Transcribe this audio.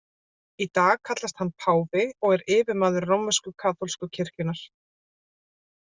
Í dag kallast hann páfi og er yfirmaður rómversk-kaþólsku kirkjunnar.